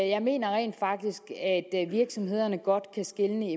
jeg mener rent faktisk at virksomhederne godt kan skelne